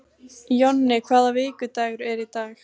Jonni, hvaða vikudagur er í dag?